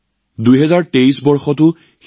লাহে লাহে ২০২৩ চনটো শেষৰ ফালে আগবাঢ়িছে